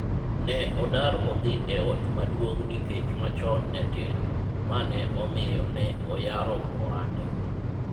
ne odar odhi e ot maduong' nikech machon ne tin, mane omiyo ne oyaro ohande